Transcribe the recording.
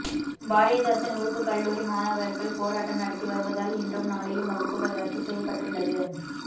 பாரதிதாசன் உறுப்புக்கல்லூரி மாணவர்கள் போராட்டம் நடத்தி வருவதால் இன்றும் நாளையும் வகுப்புகள் ரத்து செய்யப்பட்டுள்ளது